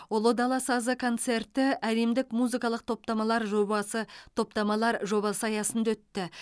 ұлы дала сазы концерті әлемдік музыкалық топтамалар жобасы топтамалар жобасы аясында өтті